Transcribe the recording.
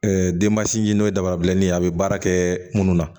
denbasinw ye dabarabilennin ye a bɛ baara kɛ minnu na